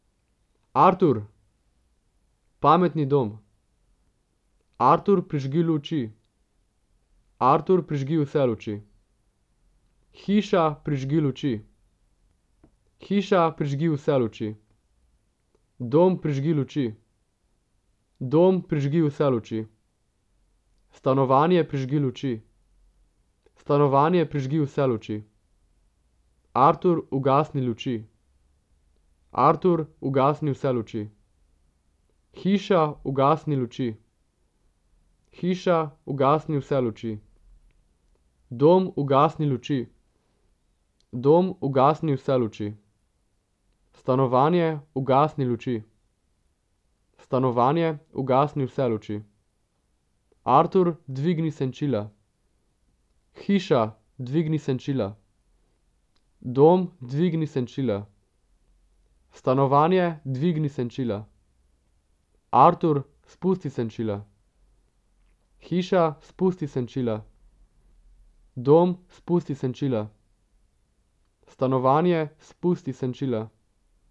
Artur. Pametni dom. Artur, prižgi luči. Artur, prižgi vse luči. Hiša, prižgi luči. Hiša, prižgi vse luči. Dom, prižgi luči. Dom, prižgi vse luči. Stanovanje, prižgi luči. Stanovanje, prižgi vse luči. Artur, ugasni luči. Artur, ugasni vse luči. Hiša, ugasni luči. Hiša, ugasni vse luči. Dom, ugasni luči. Dom, ugasni vse luči. Stanovanje, ugasni luči. Stanovanje, ugasni vse luči. Artur, dvigni senčila. Hiša, dvigni senčila. Dom, dvigni senčila. Stanovanje, dvigni senčila. Artur, spusti senčila. Hiša, spusti senčila. Dom, spusti senčila. Stanovanje, spusti senčila.